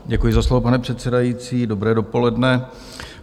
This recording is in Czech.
Děkuji za slovo, pane předsedající, dobré dopoledne.